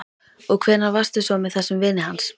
Og hvenær varstu svo með þessum vini hans?